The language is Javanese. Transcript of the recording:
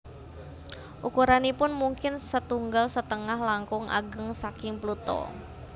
Ukuranipun mungkin setunggal setengah langkung ageng saking Pluto